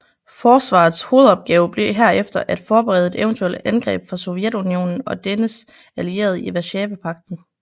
Forsvarets hovedopgave blev herefter at forberede et eventuelt angreb fra Sovjetunionen og dennes allierede i Waszawapagten